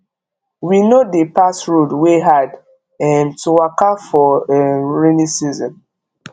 we no dey pass road wey hard um to waka for um rainy season